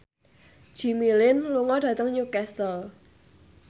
Jimmy Lin lunga dhateng Newcastle